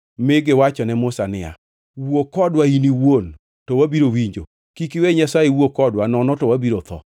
mi giwachone Musa niya, “Wuo kodwa in iwuon to wabiro winjo. Kik iwe Nyasaye wuo kodwa nono to wabiro tho.”